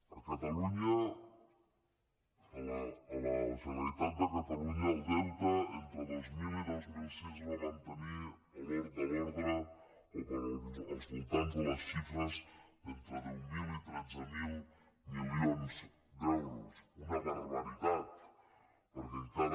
a catalunya a la generalitat de catalunya el deute entre dos mil i dos mil sis es va mantenir al voltant de les xifres d’entre deu mil i tretze mil milions d’euros una barbaritat perquè encara